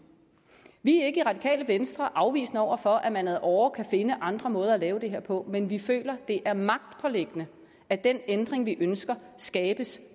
vi er ikke i det radikale venstre afvisende over for at man ad åre kan finde andre måder at lave det her på men vi føler at det er magtpåliggende at den ændring vi ønsker skabes